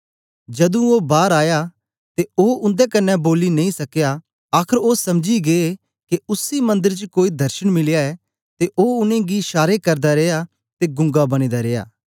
जदूं ओ बार आया ते ओ उन्दे कन्ने बोली नेई सकया आखर ओ समझी गै के उसी मंदर च कोई दर्शन मिलया ऐ ते ओ उनेंगी शारे करदा रिया ते गूंगा बने दा रिया